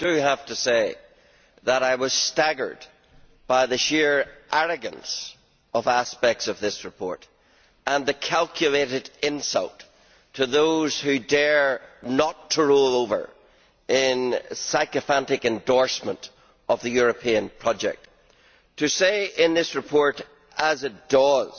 But I do have to say that I was staggered by the sheer arrogance of aspects of this report and the calculated insult to those who dare not to roll over in sycophantic endorsement of the European project. To say in this report as it does